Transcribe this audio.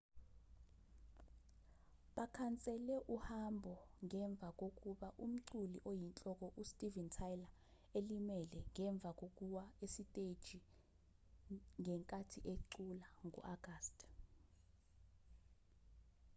bakhansele uhambo ngemva kokuba umculi oyinhloko u-steven tyler elimele ngemva kokuwa esiteji ngenkathi ecula ngo-agasti